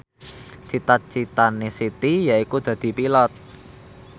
cita citane Siti yaiku dadi Pilot